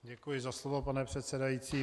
Děkuji za slovo, pane předsedající.